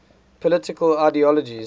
political ideologies